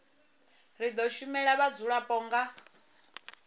ri do shumela vhadzulapo nga